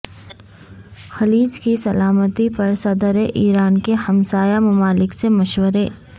خلیج کی سلامتی پر صدر ایران کے ہمسایہ ممالک سے مشورے